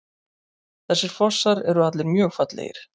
Þessir fossar eru allir mjög fallegir.